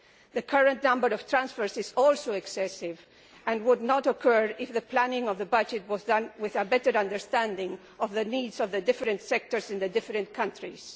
The current number of transfers is also excessive and would not occur if the planning of the budget was done with a better understanding of the needs of the different sectors in the different countries.